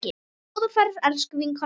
Góða ferð, elsku vinkona mín.